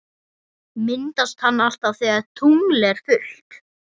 Myndast hann alltaf þegar tungl er fullt?